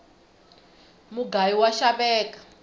mugayu wa xaveka